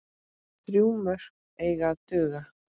Þrjú mörk eiga að duga.